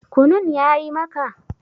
Kunun ya yi maka?